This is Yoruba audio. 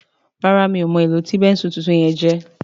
ràrá mi'o mo èló tí Bẹ́ńsù títún yen jé